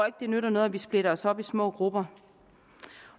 at det nytter noget at vi splitter os op i små grupper